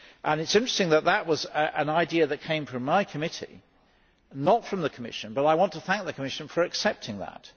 it is interesting that this was an idea that came from my committee and not from the Commission, but I want to thank the Commission for accepting that.